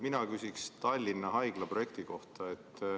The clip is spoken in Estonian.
Mina küsin Tallinna Haigla projekti kohta.